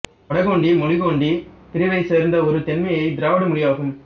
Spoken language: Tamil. வட கோண்டி மொழி கோண்டி பிரிவைச் சேர்ந்த ஒரு தென்மையத் திராவிட மொழியாகும்